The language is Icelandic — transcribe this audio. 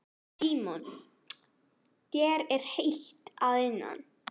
Símon: Þér er heitt að innan?